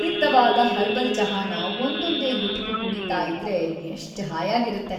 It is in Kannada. ಹಿತವಾದ್ ಹರ್ಬಲ್ ಚಹಾನ ಒಂದೊಂದೇ ಗುಟುಕು ಕುಡೀತಾ ಇದ್ರೆ ಎಷ್ಟ್‌ ಹಾಯಾಗಿರತ್ತೆ.